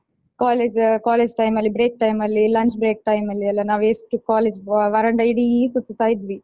College college time ಅಲ್ಲಿ break ಅಲ್ಲಿ lunch break time ಅಲ್ಲಿಯೆಲ್ಲ ನಾವೆಷ್ಟು college ವರಾಂಡ ಇಡೀ ಸುತ್ತುತ್ತಾ ಇದ್ವಿ.